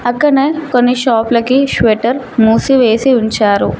అక్కనే కొన్ని షాపులకి స్వేటర్ మూసివేసి ఉంచారు.